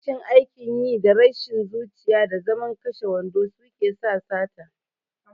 Rashin aikin yi, da rashin zuciya, da zaman kashe wando suke sa sata.